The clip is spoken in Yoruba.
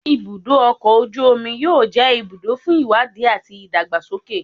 Ibudo ọkọ oju omi yoo jẹ ibudo fun iwadi ati idagbasoke